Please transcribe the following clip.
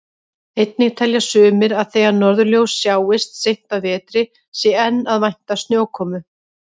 Einnig telja sumir að þegar norðurljós sjáist seint á vetri sé enn að vænta snjókomu.